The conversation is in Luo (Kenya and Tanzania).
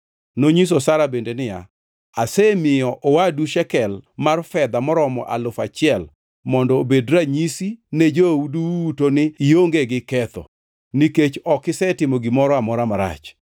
Nonyiso Sara bende niya, “Asemiyo owadu shekel mar fedha maromo alufu achiel mondo obed ranyisi ne jou duto ni ionge gi ketho; nikech ok isetimo gimoro amora marach.”